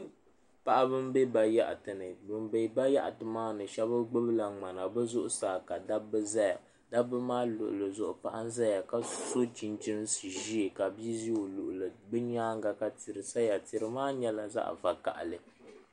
Paɣaba n bɛ bayaɣati ni bin bɛ bayaɣati maa ni bi shab gbubila ŋmana bi zuɣusaa ka shab ʒɛya dabba maa luɣuli zuɣu paɣa n ʒɛya ka so chinchin ʒiɛ ka bia ʒi o luɣuli bi nyaanga ka tihi saya tihi maa nyɛla zaɣ vakaɣali